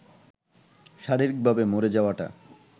শারীরিকভাবে মরে যাওয়াটা